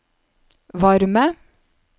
varme